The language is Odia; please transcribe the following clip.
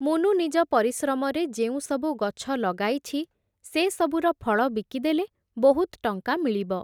ମୁନୁ ନିଜ ପରିଶ୍ରମରେ ଯେଉଁସବୁ ଗଛ ଲଗାଇଛି, ସେସବୁର ଫଳ ବିକିଦେଲେ ବହୁତ୍ ଟଙ୍କା ମିଳିବ ।